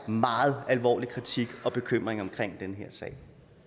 meget alvorlig kritik og bekymring omkring den her sag